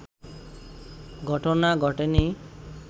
ঘটনা ঘটেনি